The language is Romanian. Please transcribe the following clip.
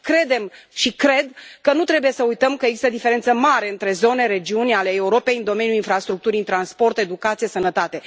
Credem și cred că nu trebuie să uităm că este o diferență mare între zone, regiuni ale Europei în domeniul infrastructurii, în transport, educație, sănătate.